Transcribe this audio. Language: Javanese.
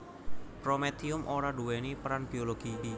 Prometium ora nduwèni peran biologi